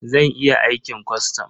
Zan iya aikin kwastam.